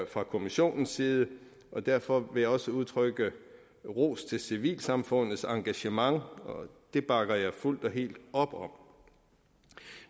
fra kommissionens side og derfor vil jeg også udtrykke ros til civilsamfundets engagement det bakker jeg fuldt og helt op om